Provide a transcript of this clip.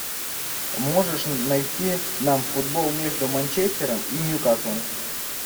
можешь найти нам футбол между манчестером и ньюкаслом